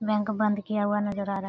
Bank बंद किया हुआ नजर आ रहा है।